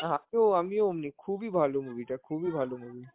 হা আমিও, আমিও অমনিই. খুবই ভালো movie টা, খুবই ভালো movie.